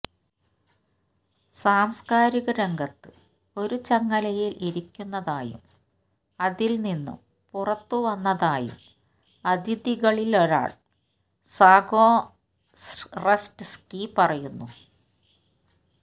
സാംസ്കാരിക രംഗത്ത് ഒരു ചങ്ങലയിൽ ഇരിക്കുന്നതായും അതിൽ നിന്നും പുറത്തുവന്നതായും അതിഥികളിലൊരാൾ സഗൊറെറ്റ്സ്സ്കി പറയുന്നു